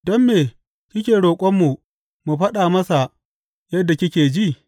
Don me kike roƙonmu mu faɗa masa yadda kike ji?